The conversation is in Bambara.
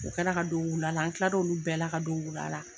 U kɛ la ka don wula la an kila olu bɛɛ la ka don wula la.